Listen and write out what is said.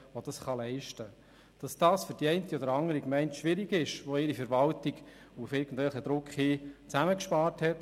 Ich kann schon glauben, dass dies für die eine oder andere Gemeinde schwierig ist, wenn sie ihre Verwaltung auf irgendwelchen Druck hin zusammengespart hat.